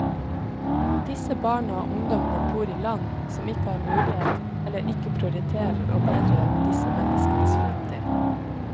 Disse barna og ungdomene bor i land som ikke har mulighet, eller ikke prioriterer å bedre disse menneskenes fremtid.